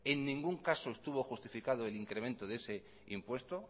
en ningún caso estuvo justificado el incremento de ese impuesto